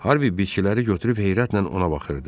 Harvi bitkiləri götürüb heyrətlə ona baxırdı.